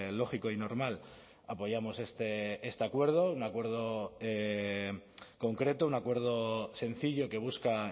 lógico y normal apoyamos este acuerdo un acuerdo concreto un acuerdo sencillo que busca